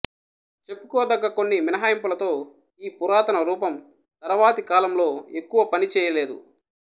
చెప్పుకోదగ్గ కొన్ని మినహాయింపులతో ఈ పురాతన రూపం తరువాతి కాలంలో ఎక్కువ పని చేయలేదు